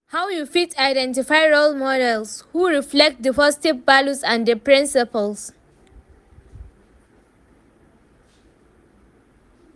how you fit identify role models who reflect di positive values and di principles?